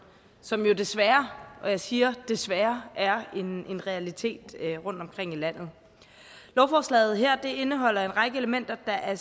som jo desværre og jeg siger desværre er en realitet rundtomkring i landet lovforslaget her indeholder en række elementer der er